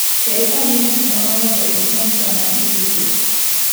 Kel ane buk moro mondo isom sama irito.